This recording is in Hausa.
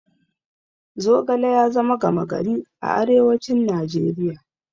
Zogale ya zama gama gari a arewacin Najeriya.